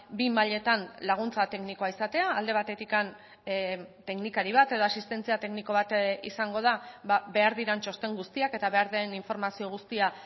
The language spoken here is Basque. bi mailetan laguntza teknikoa izatea alde batetik teknikari bat edo asistentzia tekniko bat izango da behar diren txosten guztiak eta behar den informazio guztia